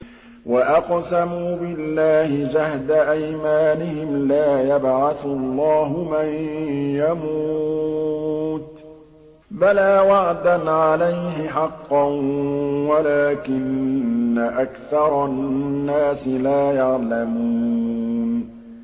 وَأَقْسَمُوا بِاللَّهِ جَهْدَ أَيْمَانِهِمْ ۙ لَا يَبْعَثُ اللَّهُ مَن يَمُوتُ ۚ بَلَىٰ وَعْدًا عَلَيْهِ حَقًّا وَلَٰكِنَّ أَكْثَرَ النَّاسِ لَا يَعْلَمُونَ